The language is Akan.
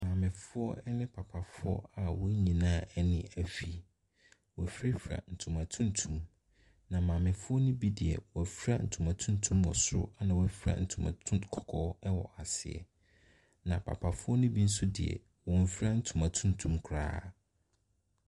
Maamefoɔ ne papafo a wɔn nyinaa ani afi. Wɔafirafira ntoma tuntum, na maamefoɔ no bi deɛ, wɔafira ntoma tuntum wɔ soro ɛna wɔafira ntoma tun kɔkɔɔ wɔ aseɛ, na papafoɔ no bi nso deɛ. Wɔnfira ntoma tuntum koraa.